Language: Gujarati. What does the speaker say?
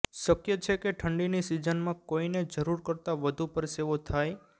શક્ય છે કે ઠંડીની સીઝનમાં કોઇને જરુર કરતા વધુ પરસેવો થાય